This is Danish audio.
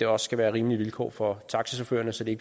også skal være rimelige vilkår for taxachaufførerne så de